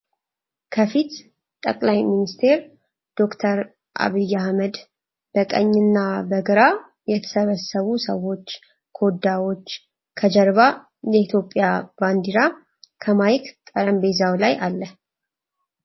ከፊት ጠቅላይ ሚኒስቴር ዶክተር አብይ አህመድ ፤ በቀኝ እና በግራ የተሰበሰቡ ሰዎች ፤ ኮዳዎች ከጀርባ የኢትዮጵያ ባንዲራ ከማይክ ጠረንቤዛው ላይ አለ።